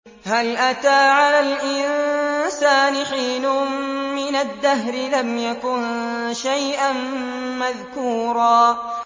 هَلْ أَتَىٰ عَلَى الْإِنسَانِ حِينٌ مِّنَ الدَّهْرِ لَمْ يَكُن شَيْئًا مَّذْكُورًا